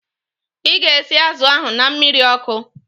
Ị ga-esi azụ ahu na mmiri ọkụ?